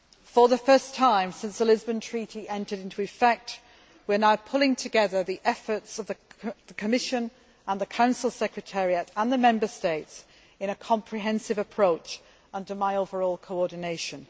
For the first time since the Lisbon Treaty entered into effect, we are now pulling together the efforts of the Commission and the Council Secretariat, and the Member States, in a comprehensive approach, under my overall coordination.